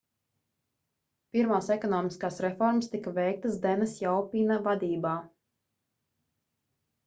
pirmās ekonomiskās reformas tika veiktas dena sjaopina vadībā